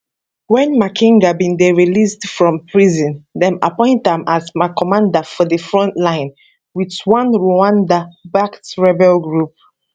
wen makenga bin dey released from prison dem appoint am as commander for di front line wit one rwanda backed rebel group